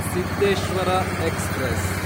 Siddheshwara express